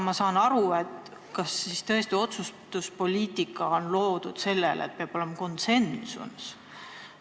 Aga kas siis tõesti otsustuspoliitika on loodud sellele põhjale, et peab olema konsensus?